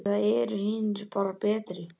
Eða eru hinir bara betri?